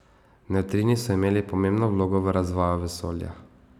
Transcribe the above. Nevtrini so imeli pomembno vlogo v razvoju vesolja.